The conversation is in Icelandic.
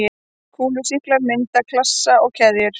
Kúlusýklar mynda klasa eða keðjur.